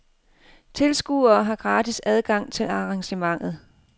Tilskuere har gratis adgang til arrangementet.